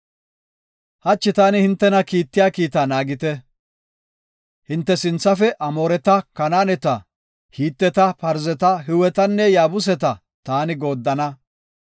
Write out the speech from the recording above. Hachi taani hintena kiittiya kiita naagite. Hinte sinthafe Amooreta, Kanaaneta, Hiteta, Parzeta, Hiwetanne Yaabuseta taani gooddana.